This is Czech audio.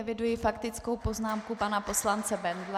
Eviduji faktickou poznámku pana poslance Bendla.